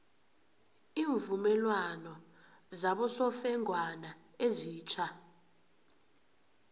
iimvumelwano zabosofengwana ezitja